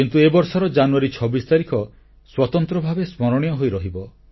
କିନ୍ତୁ ଏ ବର୍ଷର ଜାନୁୟାରୀ 26 ତାରିଖ ସ୍ୱତନ୍ତ୍ର ଭାବେ ସ୍ମରଣୀୟ ହୋଇ ରହିବ